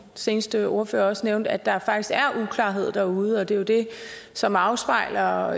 seneste ordfører også nævnte at der faktisk er uklarhed derude og det er jo det som afspejler